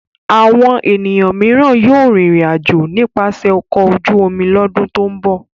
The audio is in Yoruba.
Àwọn ènìyàn mìíràn yóò rìnrìn-àjò nípasẹ̀ ọkọ̀ ojú-omi lọ́dún tó ń bọ̀.